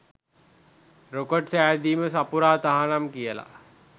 "Rocket සැදීම සපුරා තහනම්" කියලා.